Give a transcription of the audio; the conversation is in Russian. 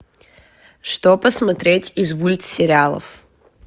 что посмотреть из мульт сериалов